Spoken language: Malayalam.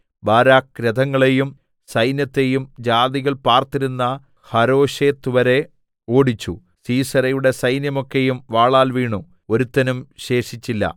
ബാരാക്ക് രഥങ്ങളെയും സൈന്യത്തെയും ജാതികൾ പാർത്തിരുന്ന ഹരോശെത്ത്‌വരെ ഓടിച്ചു സീസെരയുടെ സൈന്യമൊക്കെയും വാളാൽ വീണു ഒരുത്തനും ശേഷിച്ചില്ല